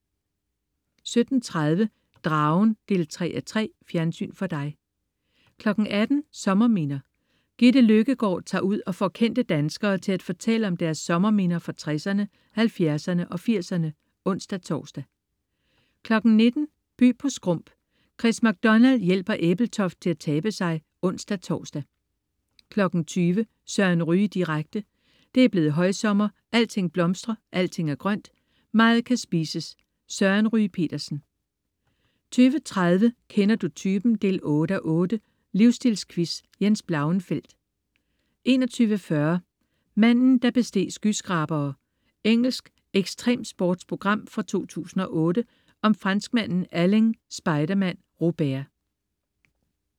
17.30 Dragen3:3. Fjernsyn for dig 18.00 Sommerminder. Gitte Løkkegård tager ud og får kendte danskere til at fortælle om deres sommerminder fra 60'erne, 70'erne og 80'erne (ons-tors) 19.00 By på Skrump. Chris MacDonald hjælper Ebeltoft til at tabe sig (ons-tors) 20.00 Søren Ryge direkte. Det er blevet højsommer. Alting blomstrer. Alting er grønt. Meget kan spises. Søren Ryge Petersen 20.30 Kender du typen? 8:8. Livstilsquiz. Jens Blauenfeldt 21.40 Manden, der besteg skyskrabere. Engelsk ekstremsportprogram fra 2008 om franskmanden Alain "Spiderman" Robert